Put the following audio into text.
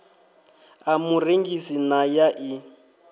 ḽa murengisi na ya ḽi